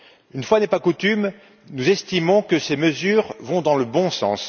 Une fois n'est pas coutume, nous estimons que ces mesures vont dans le bon sens.